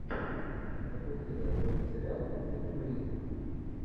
запусти достойный сериал по типу туризма